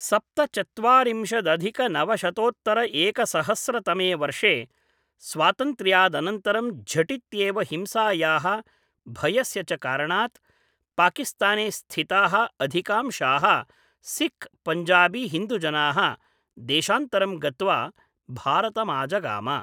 सप्त चत्वारिंशदधिक नवशतोत्तर एकसहस्र तमे वर्षे स्वातन्त्र्यादनन्तरं झटित्येव हिंसायाः भयस्य च कारणात् पाकिस्ताने स्थिताः अधिकांशाः सिख् पञ्जाबीहिन्दुजनाः देशान्तरं गत्वा भारतमाजगाम।